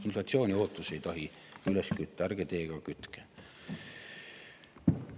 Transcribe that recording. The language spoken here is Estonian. Inflatsiooniootusi ei tohi üles kütta, ärge teie ka kütke.